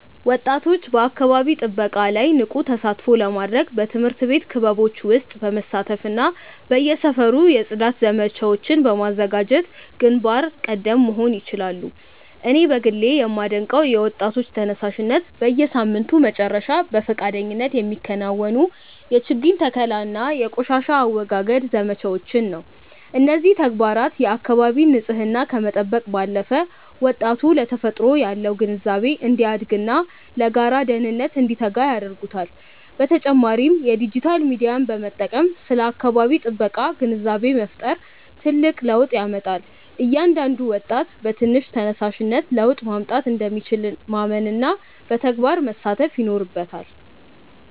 ወጣቶች በአካባቢ ጥበቃ ላይ ንቁ ተሳትፎ ለማድረግ በትምህርት ቤት ክበቦች ውስጥ በመሳተፍና በየሰፈሩ የጽዳት ዘመቻዎችን በማዘጋጀት ግንባር ቀደም መሆን ይችላሉ። እኔ በግሌ የማደንቀው የወጣቶች ተነሳሽነት፣ በየሳምንቱ መጨረሻ በፈቃደኝነት የሚከናወኑ የችግኝ ተከላና የቆሻሻ አወጋገድ ዘመቻዎችን ነው። እነዚህ ተግባራት የአካባቢን ንፅህና ከመጠበቅ ባለፈ፣ ወጣቱ ለተፈጥሮ ያለው ግንዛቤ እንዲያድግና ለጋራ ደህንነት እንዲተጋ ያደርጉታል። በተጨማሪም የዲጂታል ሚዲያን በመጠቀም ስለ አካባቢ ጥበቃ ግንዛቤ መፍጠር ትልቅ ለውጥ ያመጣል። እያንዳንዱ ወጣት በትንሽ ተነሳሽነት ለውጥ ማምጣት እንደሚችል ማመንና በተግባር መሳተፍ ይኖርበታል።